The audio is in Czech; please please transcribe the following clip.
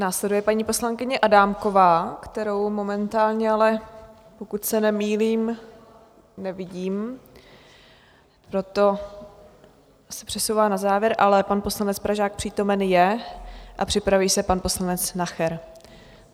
Následuje paní poslankyně Adámková, kterou momentálně ale, pokud se nemýlím, nevidím, proto se přesouvá na závěr, ale pan poslanec Pražák přítomen je a připraví se pan poslanec Nacher.